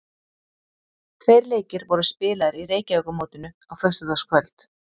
Tveir leikir voru spilaðir í Reykjavíkurmótinu á föstudagskvöld.